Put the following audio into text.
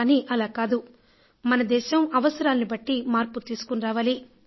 కానీ అలా కాదు మన దేశం అవసరాలను బట్టీ మార్పు తీసుకుని రావాలి